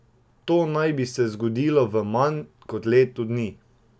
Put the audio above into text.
To naj bi se zgodilo v manj kot letu dni!